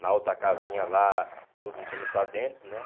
na outra casinha lá, tudo entrando para dentro, né?